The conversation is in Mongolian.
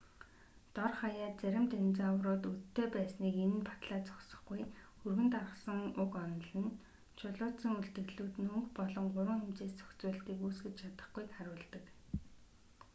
дор хаяад зарим динозаврууд өдтэй байсныг энэ нь батлаад зогсохгүй өргөн тархсан уг онол нь чулуужсан үлдэгдлүүд нь өнгө болон гурван хэмжээст зохицуулалтыг үүсгэж чадахгүйг харуулдаг